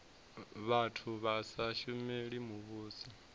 vhathu vha sa shumeli muvhuso